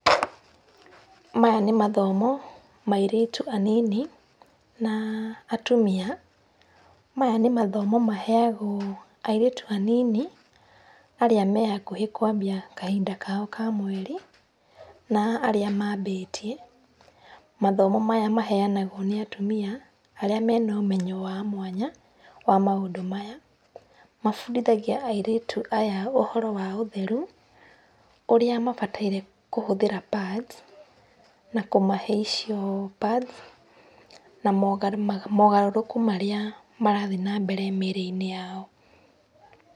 Maya nĩ mathomo ma airĩtu anini na atumia. Maya nĩ mathomo maheagwo airĩtu anini arĩa me hakuhĩ kwambia kahinda kao ka mweri, na arĩa mabĩtie. Mathomo maya maheanagwo nĩ atumia arĩa mena ũmenyo wa mwanya wa maũndũ maya. Mabundithagia airĩtu aya ũhoro wa ũtheru, ũrĩa mabataire kũhũthĩra pads na kũmahe icio pads na mogarũrũku marĩa marathiĩ na mbere mĩĩrĩ-inĩ yao.